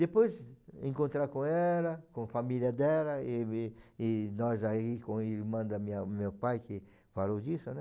Depois, encontrar com ela, com família dela, e e e nós aí, com a irmã da minha do meu pai, que falou disso, né?